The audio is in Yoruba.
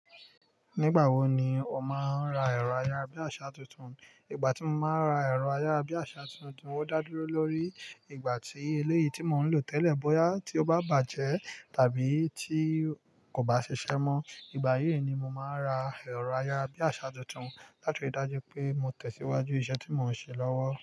Nígbà wo ni o máa ń ra ẹ̀rọ ayárabíàṣá tuntun? Ìgbà tí mo máa ra ẹ̀rọ ayárabíàṣá tuntun, ó dá dúró lórí ìgbà tí eléyìí tí mò ń lò tẹ́lẹ̀ bóyá tí ó bá bàjẹ́ tàbí tí kò bá ṣiṣẹ́ mọ. Ìgbà yìí ni mo máa n ra ẹ̀rọ ayárabíàṣá tuntun láti ri dájú pé mò tẹ̀síwájú iṣẹ́ tí mò ń ṣe lọ́wọ́